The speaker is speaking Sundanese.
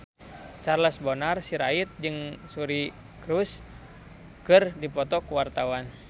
Charles Bonar Sirait jeung Suri Cruise keur dipoto ku wartawan